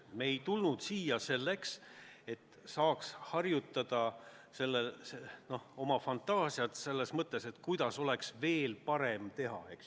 Me ei tulnud siia selleks, et saaks arendada oma fantaasiat, kuidas oleks veel parem teha.